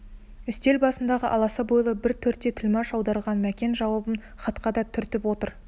үстел басындағы аласа бойлы бір төре тілмаш аударған мәкен жауабын хатқа да түртіп отыр